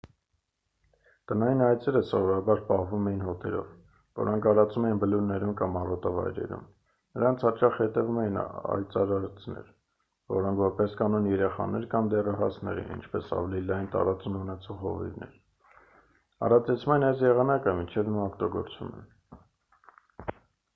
տնային այծերը սովորաբար պահվում էին հոտերով որոնք արածում էին բլուրներում կամ արոտավայրերում նրանց հաճախ հետևում էին այծարածներ որոնք որպես կանոն երեխաներ կամ դեռահասներ էին ինչպես ավելի լայն տարածուն ունեցող հովիվներ արածեցման այս եղանակները մինչ հիմա օգտագործվում են